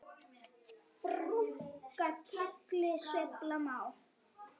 Brúnka tagli sveifla má.